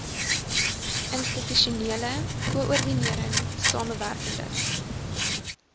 institusionele koördinering samewerkende